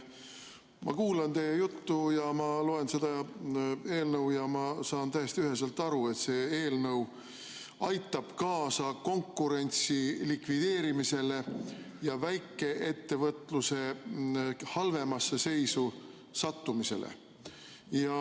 Ma kuulan teie juttu ja loen seda eelnõu ja saan täiesti üheselt aru, et see eelnõu aitab kaasa konkurentsi likvideerimisele ja väikeettevõtluse halvemasse seisu sattumisele.